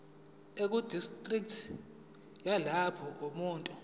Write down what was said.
ekudistriki yalapho umuntu